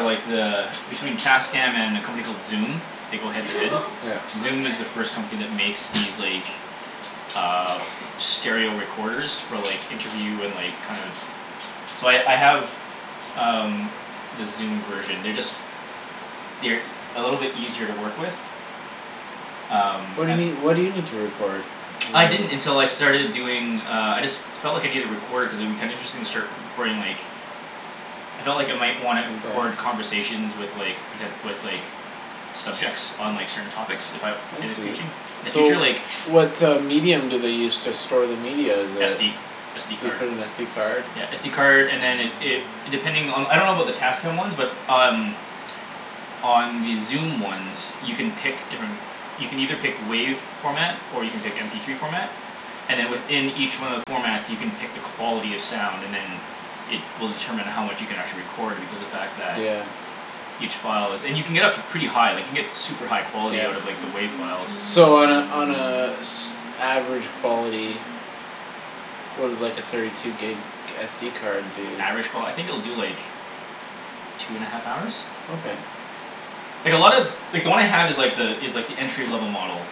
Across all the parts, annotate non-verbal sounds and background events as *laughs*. like the between Tascam and a company called Zoom they go head to head. Yeah. Zoom is the first company that makes these, like, uh stereo recorders for, like interview and, like, kind of So I, I have um, the Zoom version. They're just they're e- a little bit easier to work with. Um. What do you need, what do you need to record? I didn't until I starting doing, uh, I just felt like I needed a recorder cuz it would be kinda interesting to start re- recording, like I felt like I might wanna record Yeah? conversations with, like, poten- with, like subjects on, like, certain topics if I I in the see. futu- in the So future, like what uh medium do they use to store the media is a SD. So SD you card. put an SD card? Yeah, SD card and then it, it it, depending on the, I don't about the Tascam ones but um on the Zoom ones you can pick different you can either pick WAV format or you can pick MP three format and then within each one of the formats you can pick the quality of sound, and then it will determine how much you can actually record because the fact that Yeah. each file is, and you can get up to pretty high, like, you can get super high quality out of, like, the Yeah. WAV files. So on a, on a s- average quality *noise* what would like a thirty two gig SD card do? Average qual- I think it will do, like two and a half hours? Okay. Like, a lot of like, the one I have is, like, the, is like, the entry level model.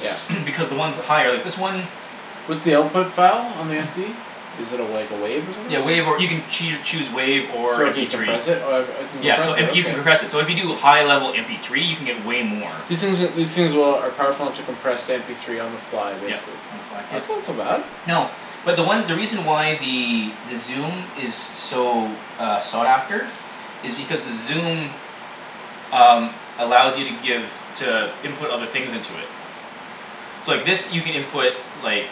Yep. *noise* Because the ones with higher, like, this one What's the output file on the SD? Is it a, like, a wave or Yeah, WAV, or you something? can choo- choose WAV or So you MP three. decompress it? Oh uh I can Yeah, compress so, it, and you can okay. compress it, so if you do high level MP three you can get way more. These things are, these things will, are powerful enough to compress to mp three on the fly, Yep, basically? on the file, yep. That's not so bad. No, but the one, the reason why the Zoom is so, uh, sought after is because the Zoom um, allows you to give to input other things into it. So, like, this you can input like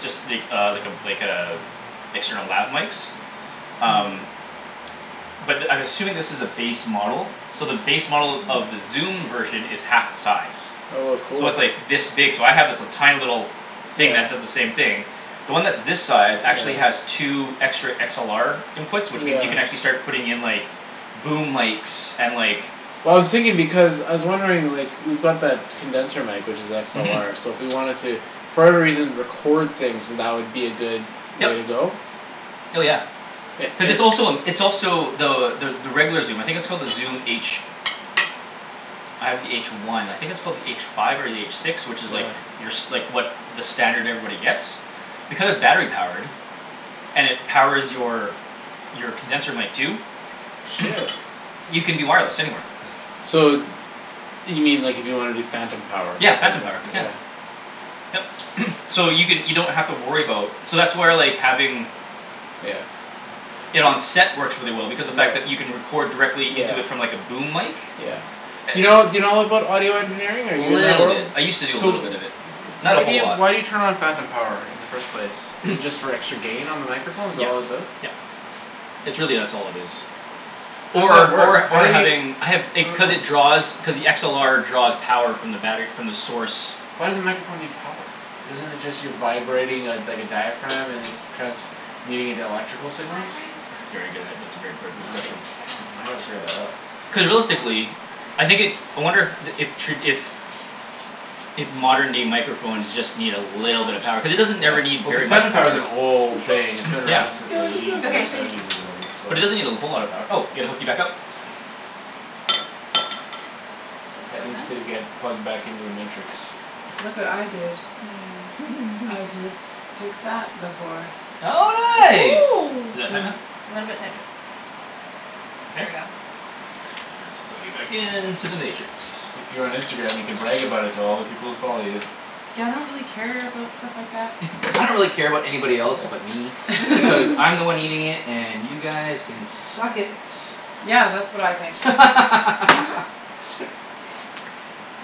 just, like, uh, like a, like a external lab mikes. Hm. Um. But I'm assuming this is the base model. So the base model of the Zoom version is half the size. Oh a So cool. it's, like, this big, so I have, like, this tiny little thing Yeah. that does the same thing. The one that's this size actually has Yeah. two extra XLR inputs which means you can Yeah. actually start putting in, like boom mikes and, like Well, I was thinking because, I was wondering, like, we've got that condenser mic which is Mhm. XLR so if we wanted to for whatever reason record things, that would be a good way to Yep. go? Hell, yeah. It, Cuz it it's also a, it's also the, the, the regular Zoom, I think it's called the Zoom H. I have the H one. I think it's called the H five or the H six, which is, like Yeah. your s- like, what, the standard everybody gets. Because battery-powered. And it powers your your condenser mic too. Shit. *noise* You can do wireless, anywhere. So you mean, like, if you wanna do phantom power. Yeah, phantom power, Yeah. yeah. Yep, *noise* so you can, you don't have to worry about So that's where, like, having Yeah. it on set works really well because the fact that you can Yeah. record directly Yeah. into it from, like, a boom mic. Yeah. Do you know, do you know about audio engineering or are Little you bit. *inaudible* I used to do a So little w- bit of it. Not a why do whole you, lot. why do you turn on phantom power in the first place? Is it *noise* just for extra gain on the microphone? Is that Yep, all it does? yep, it's really that's all it is. Or at Or, work, or, how or do you having, I have, it, cuz *noise* it draws cuz the XLR draws power from the battery, from the source. Why does the microphone need power? Isn't it just you vibrating a, dike a diaphragm and it's transmuting into electrical signals? That's a very good, ah, that's a very gor, good I gotta, question. I gotta figure that out. Cuz realistically I think it, I wonder the, if tra- if if modern day microphones just need a little bit of power cuz it doesn't Yeah, ever need well, cuz very much phantom power power. is an old thing; it's been around Yeah. since You the look eighties so or Okay. grumpy. seventies or whatever, But it doesn't need a whole lot of so. power. Oh, yeah, gotta hook you back up. Ped needs to get plugged back into the Matrix. Look what I did. I *laughs* just took that before. Oh, Oh. nice. Is that tight Mm. enough? A little bit tighter. There you Okay? go. Ah, let's plug you back into the Matrix. If you were on Instagram, you could brag about it to all the people who follow you. Yeah, I don't really care about stuff like that. *noise* I don't really care about anybody else but me. Cuz *laughs* *laughs* I'm the one eating it and you guys can suck . Yeah, that's what I think. Mhm. *laughs*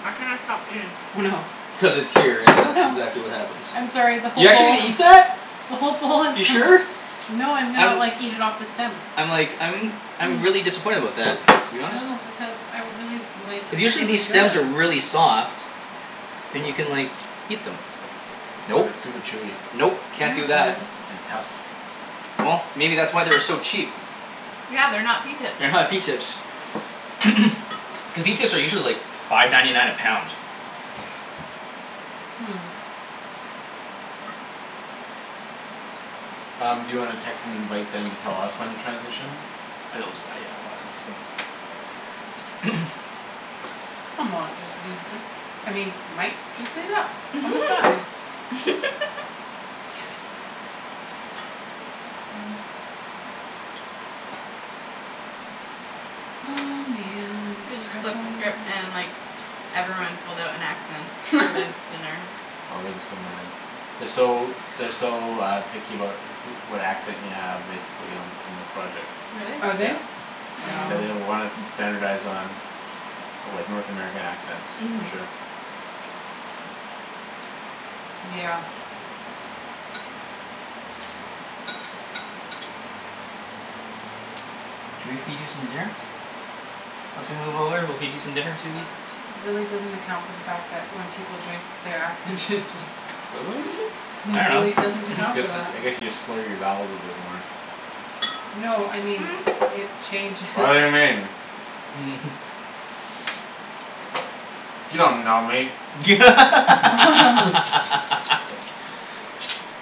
I cannot stop eating. Oh, no. Cuz it's here and Oh, that's no. exactly what happens. I'm sorry the You're whole actually bowl gonna eat that? the whole bowl is You *inaudible* sure? No, I'm gonna, I'm like, eat it off the stem. I'm like, I'm I'm really disappointed about that to be honest. No, because I really, like, Cuz it's usually really these stems are good. really soft. And you can, like eat them. But Nope, it's super chewy nope, can't do that. and tough. Well, maybe that's why they were so cheap. Yeah, they're not pea tips. They're not pea tips. *noise* Cuz pea tips are usually, like, five ninety nine a pound. Hmm. Um, do you wanna text and invite them to tell us when to transition? *inaudible* *noise* I mought just leave this, I mean, might just leave that on the side. *laughs* Oh, man, its Coulda just flipped the pressing. script and, like Everyone pulled out an accent for this *laughs* dinner. Oh, they'd be so mad. They're so, they're so uh picky about who- what accent you have, basically, on, in this project. Are Really? they? Yeah. Yeah, No. they uh Oh. wanna st- standardize on of like North American accents, for Mhm. sure. Yeah. Should we feed you some dinner? Once we move over we'll feed you some dinner, Susie. It really doesn't account for the fact that when people drink their accent changes. *laughs* I It really dunno. doesn't This account for gets, that. I guess you just slur your vowels a bit more. No, I mean *noise* it changes. *laughs* *laughs* *inaudible* *laughs* *laughs* *laughs*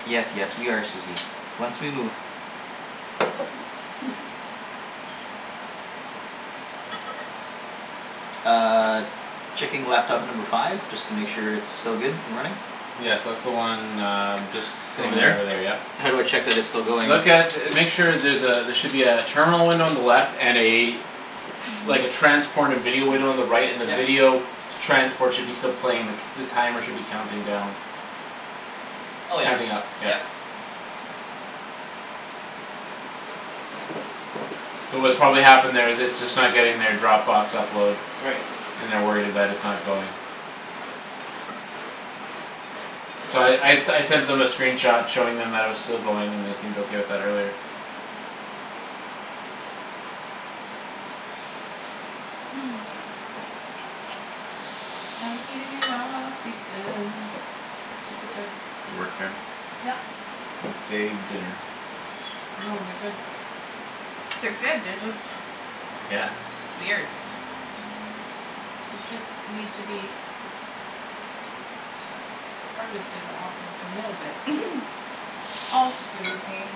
Yes, yes, we are Susie, once we move. *laughs* Uh Checking laptop number five just to make sure it's still good and running. Yes, that's the one uh just Just sitting over right over there, there. yep. How do I check that it's still going? Look at, make sure there's a, there should be a terminal window on the left and a like, a transported video window on the right and the Yep. video transport should still be playing the c- the timer should be counting down. Oh yeah, Counting up, yep. yep. So what's probably happened there is it's just not getting their Dropbox upload. Right. And they're worried it, that it's not going. So I, I, I sent them a screen shot showing them that it was still going and they seemed okay with that earlier. *noise* *noise* I'm eating it all, pea stems, super good. Good work here. Yep. It saved dinner. No, they're good. They're good; they're just weird. They just need to be harvested off of the middle bits. *laughs* Off, Susie.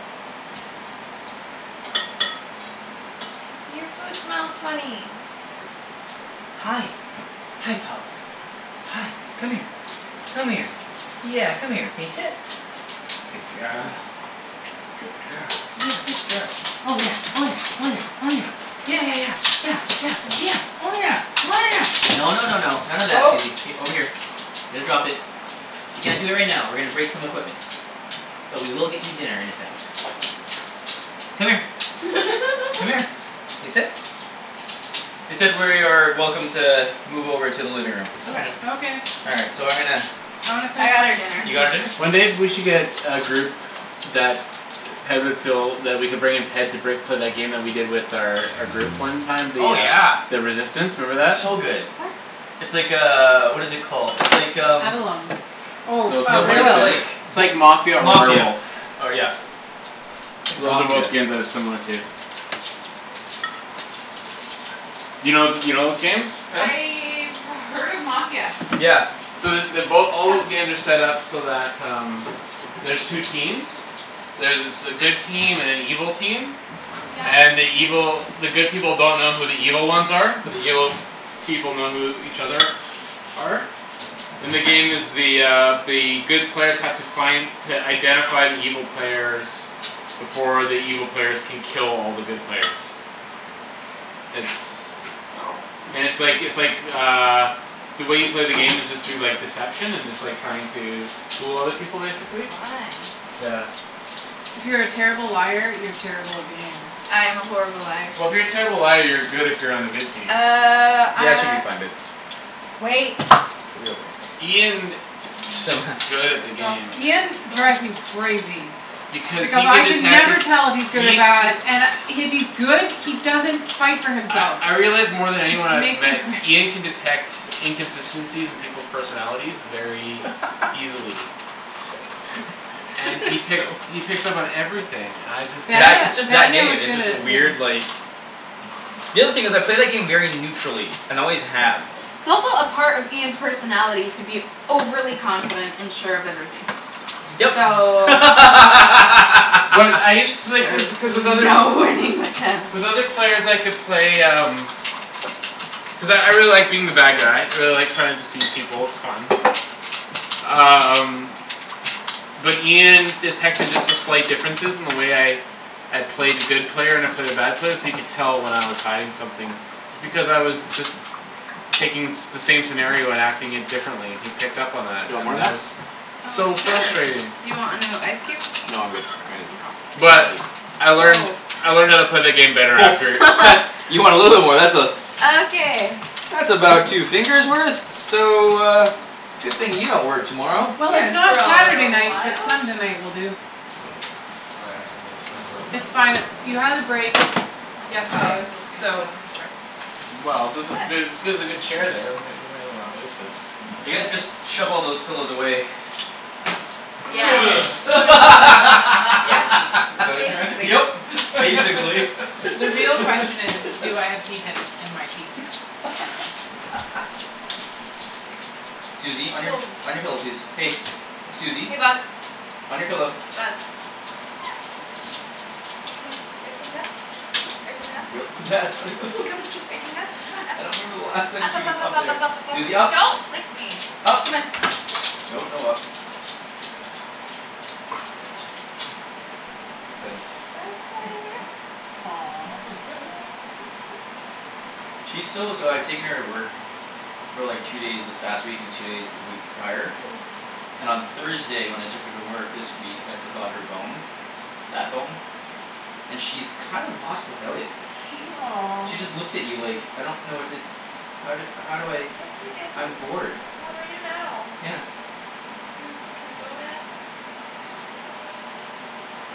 Your food smells funny. Hi, hi, pup. Hi, come here. Come here. Yeah, come here. Can you sit? Good girl. *noise* Good girl, yeah, good girl. Oh, yeah, oh, yeah, oh, yeah, oh, yeah. Yeah, yeah, yeah, yeah, yeah, yeah. Oh, yeah, oh, yeah, no, no, no, no. None of that, Oh. Susie, k, over here. Here, drop it. You can't do it right now. We're gonna break some equipment. But we will get you dinner in a second. Come here. Come here. *laughs* Can you sit? They said we're, are welcome to move over to the living room. Okay. Okay. All right, so I'm gonna I wanna I finish got my her dinner. You pea got tips. her dinner? One day we should get a group that Ped would feel that we could bring in Ped to break for that game we did with their, our group one time, the Oh, uh yeah. the Resistance, remember that? So good. What? It's like, uh, what is it called, it's like, um Avalon. Oh, No uh No, what is it, *inaudible* like *inaudible* It's like Mafia wha- or Mafia, Werewolf. or, yeah. It's Those are both Mafia. games that it's similar to. You know, you know those games, Ped? I've heard of Mafia. Yeah. So the, they both, all Come. those games are set up so that um there's two Sit. teams. There's s- a good team and an evil team. Yeah. And the evil, the good people don't know who the evil ones are but the evil people know who each other are. And the game is the uh the good players have to find to identify the evil players before the evil players can kill all the good players. It's Oh. and it's like, it's like uh the way you play the game is just through, like, deception and just, like, trying to fool other people, basically. Fun. Yeah. If you're a terrible liar, you're terrible at the game. I am a horrible liar. Well, if you're a terrible liar you're good if you're on the good team. Uh, Yeah, it should ah be fine, babe. Wait. She'll be okay. Ian s- is good at the *inaudible* Go, game. Ian go. drives me crazy. Because he Because can I can detect it, never tell if he's good or Ia- bad and I, if he's good, he doesn't fight for I, himself. I realize more than It anyone I've makes me met cra- Ian can detect inconsistencies in people's personalities very *laughs* easily. And *laughs* he pick- So he picks up on everything; I just can't That, Danie- it's just that Daniel game, is it's good at just a it too. weird, like The other thing is, I play that game very neutrally and always have. It's also a part of Ian's personality to be overly confident and sure of everything. Yep. So But I *laughs* used to, like, cuz, cuz with there's other, no winning with him. with with other players I could play um cuz I, I really like being the bad guy. I really like trying to deceive people; it's fun. Um But Ian detected just the slight differences in the way I I play the good player and I play the bad player so you could tell when I was hiding something. It's because I was just taking the same scenario and acting it differently. He picked up on Do that, you want more and on that that? was Oh, So sure, frustrating. do you want another ice cube? No, I'm good. All right. Mkay. But *inaudible* I learned, Oh. I learned how to play the *noise* game better after. What. *laughs* You want a little war, that's a Okay. that's about two fingers worth. So *noise* uh Good thing you don't work tomorrow. Well, Good it's for not a Saturday little night but while. Sunday night will do. Oh, yeah, I can move my stuff It's there. fine; you had the break Oh, I yesterday, was just gonna sit so. on the floor. Well, there's a, But ther- there's a good chair there; we may, we may as well not waste it. You guys just *inaudible* shove all those pillows away. Yeah. *noise* So where Yeah, That's, is, is *laughs* basically. that Yep. what you Basically. The real meant? question *laughs* is, do I have *laughs* pea tips in my teeth? *laughs* Susie, on your, Woah. on your pillow, please. Hey. Susie, Hey, bug. on your pillow. Bug. Come on. Are you coming up? Are you coming up? *inaudible* Come on, are you coming up? *laughs* Come on, up. I don't remember the last time Up, she up, was up, up, up up, there. up, up, up, up, Susie, up. up. Don't lick me. up. Come on. Nope, no up. *noise* Fence. I'll sit right over here. She's so, so I've taken her to work for like two days this past week and two days the week prior Oh. and on Thursday when I took her to work this week, I forgot her bone that bone and she's kinda lost without it. *laughs* She Aw. just looks at you like "I don't know what to how do, how do I "Oh, okay, dad, what I'm bored." d- what do I do now?" Yeah. "Can, can we go, dad?"